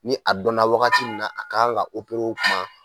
Ni a dɔnna wagati min a kan ka o kuma